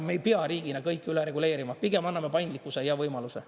Me ei pea riigina kõike üle reguleerima, pigem anname paindlikkuse ja võimaluse.